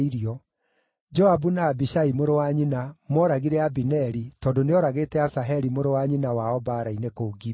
(Joabu na Abishai mũrũ wa nyina mooragire Abineri tondũ nĩooragĩte Asaheli mũrũ wa nyina wao mbaara-inĩ kũu Gibeoni.)